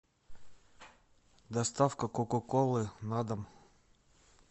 доставка кока колы на дом